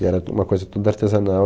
E era uma coisa tudo artesanal.